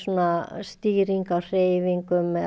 stýring á hreyfingum og